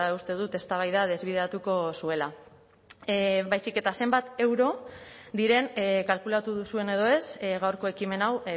uste dut eztabaida desbideratuko zuela baizik eta zenbat euro diren kalkulatu duzuen edo ez gaurko ekimen hau